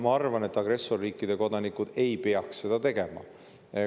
Ma arvan, et agressorriikide kodanikud ei peaks seda tegema.